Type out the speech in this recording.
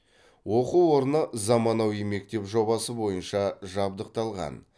оқу орны заманауи мектеп жобасы бойынша жабдықталған